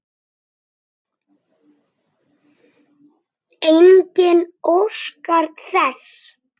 Enginn óskar þess.